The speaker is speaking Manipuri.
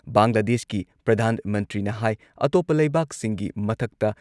ꯕꯪꯒ꯭ꯂꯥꯗꯦꯁꯀꯤ ꯄ꯭ꯔꯙꯥꯟ ꯃꯟꯇ꯭ꯔꯤꯅ ꯍꯥꯏ ꯑꯇꯣꯞꯄ ꯂꯩꯕꯥꯛꯁꯤꯡꯒꯤ ꯃꯊꯛꯇ